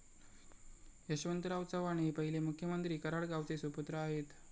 यशवंतराव चव्हाण हे पहिले मुख्यमंत्री कराड गावाचे सुपुत्र आहेत.